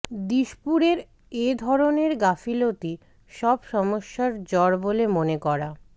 দিশপুরের এধরনের গাফিলতি সব সমস্যার জড় বলে মনে করা